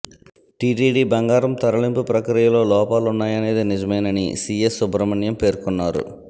TTD బంగారం తరలింపు ప్రక్రియలో లోపాలున్నాయనేది నిజమేనని సీఎస్ సుబ్రమణ్యం పేర్కొన్నారు